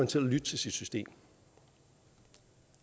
til at lytte til sit system